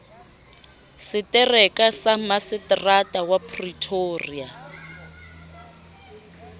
setereka sa maseterata wa pretoria